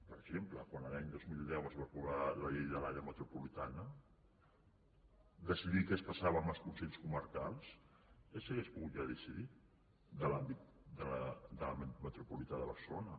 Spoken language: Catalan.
per exemple quan l’any dos mil deu es va aprovar la llei de l’àrea metropolitana decidir què passava amb els consells comarcals s’hauria pogut ja decidir de l’àmbit metropolità de barcelona